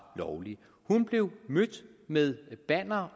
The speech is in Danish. lovlige hun blev mødt med banner